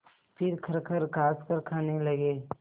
फिर खरखर खाँसकर खाने लगे